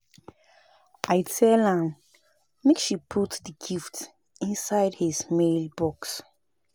I tell am make she put the gift inside his mail box